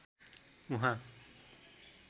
उहाँ